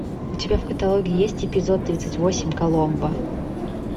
у тебя в каталоге есть эпизод тридцать восемь коломбо